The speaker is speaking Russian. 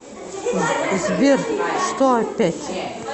сбер что опять